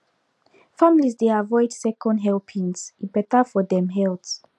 families dey avoid second helpings e better for dem health